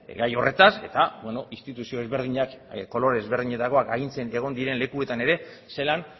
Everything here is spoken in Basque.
gai horretaz eta instituzio ezberdinak kolore ezberdinetakoak agintzen egon diren lekuetan ere zelan